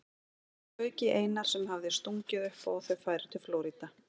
Það fauk í Einar sem hafði stungið upp á að þau færu til Flórída.